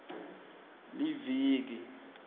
liviki